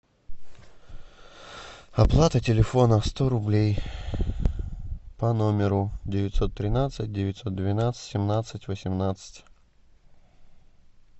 оплата телефона сто рублей по номеру девятьсот тринадцать девятьсот двенадцать семнадцать восемнадцать